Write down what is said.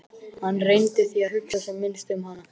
Hann reyndi því að hugsa sem minnst um hana.